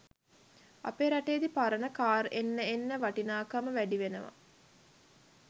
අපේ රටේදි පරණ කාර් එන්න එන්න වටිනාකම වැඩිවෙනවා